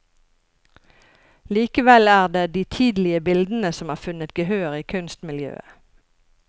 Likevel er det de tidlige bildene som har funnet gehør i kunstmiljøet.